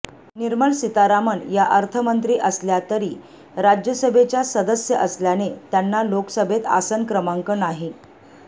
निर्मला सीतारामन या अर्थमंत्री असल्या तरी राज्यसभेच्या सदस्य असल्याने त्यांना लोकसभेत आसन क्रमांक नाही